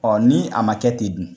Ɔn ni a ma kɛ ten dun?